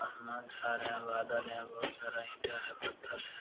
छा रहे हैं बादल हैं बहुत सारा ईंटा है है ।